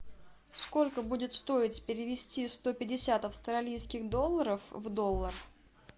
сколько будет стоить перевести сто пятьдесят австралийских долларов в доллар